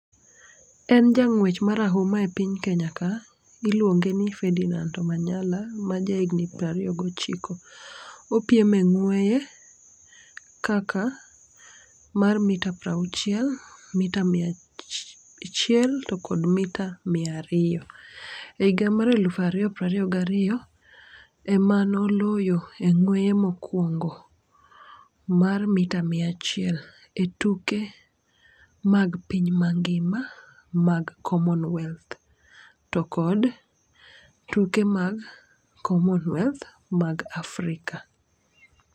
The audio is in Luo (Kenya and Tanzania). En jang'wech marahuma e piny kenya ka iluonge ni ferdinand manyala ma jahigni prariyo gochiko . Opiem e ng'weye kaka mar mita pra uchiel mita mia achiel to kod mita mia ariyo e higa mag alufa riyo prariyo gariyo ema noloyo e ng'weye mokwongo mar mita mia achiel e tuke mag piny mangima mag common wealth to kod tuke mag common wealth mag Afrika.